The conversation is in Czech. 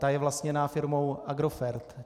Ta je vlastněna firmou Agrofert.